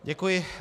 Děkuji.